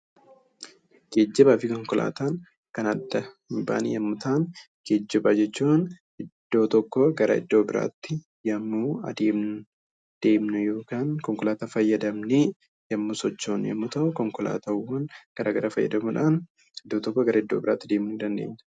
Geejjibaa fi konkolaataan kan addaan bahan yommuu ta'an, geejjiba jechuun iddoo tokkoo gara iddoo biraatti konkolaataa fayyadamnee yemmuu deemnu yoo ta'u, konkolaataawwan garaagaraa fayyadamuudhaan iddoo tokkoo gara biraatti deemuu dandeenya